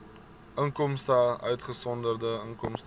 inkomste uitgesonderd inkomste